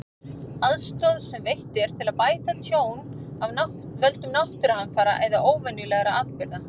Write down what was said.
Aðstoð sem veitt er til að bæta tjón af völdum náttúruhamfara eða óvenjulegra atburða.